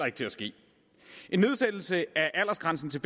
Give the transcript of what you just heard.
ikke til at ske en nedsættelse af aldersgrænsen til